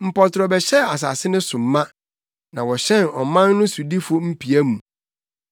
Mpɔtorɔ bɛhyɛɛ asase no so ma, na wɔhyɛn ɔman no sodifo mpia mu.